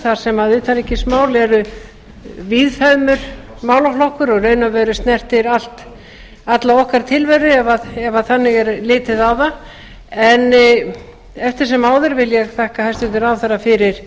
þar sem utanríkismál er víðfeðmur málaflokkur og í raun og veru snertir alla okkar tilveru ef þannig er litið á það en eftir sem áður vil ég þakka hæstvirtum ráðherra